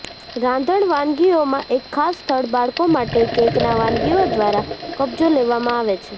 રાંધણ વાનગીઓમાં એક ખાસ સ્થળ બાળકો માટે કેકના વાનગીઓ દ્વારા કબજો લેવામાં આવે છે